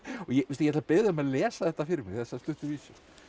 ég ætla að biðja þig um að lesa þetta fyrir mig þessa stuttu vísu